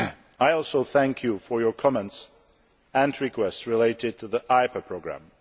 I also thank you for your comments and requests related to the IPA Programme.